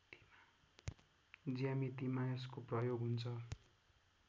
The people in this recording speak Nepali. ज्यामितिमा यसको प्रयोग हुन्छ